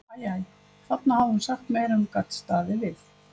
Æ, æ, þarna hafði hún sagt meira en hún gat staðið við.